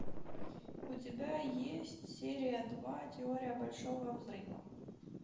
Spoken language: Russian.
у тебя есть серия два теория большого взрыва